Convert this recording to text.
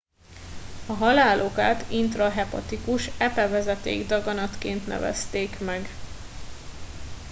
a halál okát intrahepatikus epevezeték daganatként nevezték meg